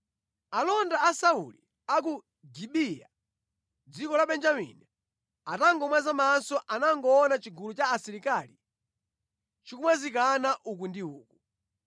Alonda a Sauli a ku Gibeya dziko la Benjamini atangomwaza maso anangoona chigulu cha asilikali chikumwazikana uku ndi uku.